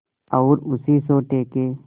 और उसी सोटे के